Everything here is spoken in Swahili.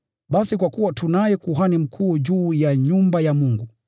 basi kwa kuwa tunaye Kuhani Mkuu juu ya nyumba ya Mungu,